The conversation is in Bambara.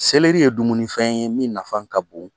ye dumunifɛn ye min nafa ka bon;